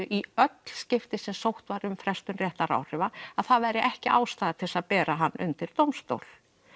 í öll skipti sem sótt var um frestun réttaráhrifa að það væri ekki ástæða til að bera hana undir dómstól